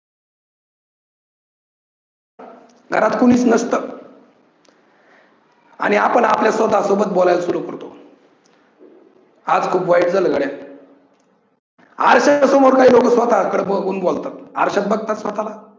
घरात कोणीच नसतं आणि आपण आपल्या स्वतः सोबत बोलायला सुरु करतो, आज खूप वाईट झालं गाड्या! आरशाच्या समोर काही लोक स्वतः कडे बघून बोलतात. आरशात बघतात स्वतः